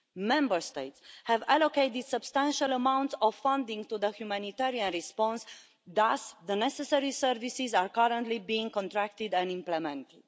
Member States have allocated substantial amounts of funding to the humanitarian response. Thus, the necessary services are currently being contracted and implemented.